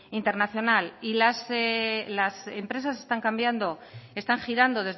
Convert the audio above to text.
internacional las empresas están cambiando están girando